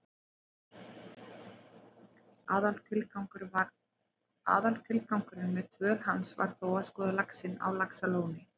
Aðaltilgangurinn með dvöl hans var þó að skoða laxinn á Laxalóni.